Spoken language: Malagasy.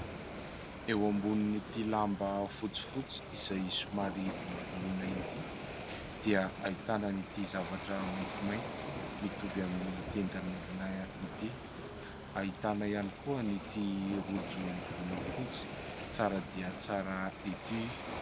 Eo ambonin'ity lamba fotsifotsy izay somary volovoloina ity dia ahitana an'ity zavatra maintimainty mitovy amin'ny tendan'olona ity, ahita ihany koa an'ity rojo volafotsy tsara dia tsara ity.